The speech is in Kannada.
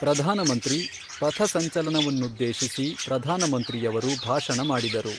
ಪ್ರಧಾನಮಂತ್ರಿ ಫಥಸಂಚಲನವನ್ನುದ್ದೇಶಿಸಿ ಪ್ರಧಾನ ಮಂತ್ರಿಯವರು ಭಾಷಣ ಮಾಡಿದರು